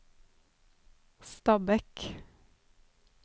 Stabekk